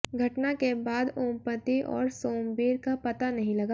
घटना के बाद ओमपति और सोमबीर का पता नहीं लगा